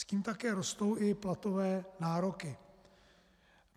S tím také rostou i platové nároky.